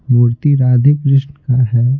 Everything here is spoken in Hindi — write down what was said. मूर्ति राधे -कृष्ण का है।